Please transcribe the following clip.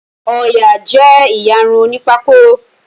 Ọya jé iyàrun òní Pákó.